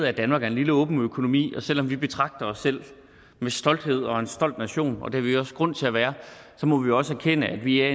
er danmark en lille åben økonomi og selv om vi betragter os selv med stolthed og er en stor nation og det har vi også grund til at være så må vi også erkende at vi er